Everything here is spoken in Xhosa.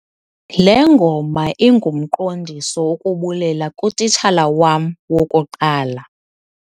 le ngoma ingumqondiso wokubulela kutitshala wam wokuqala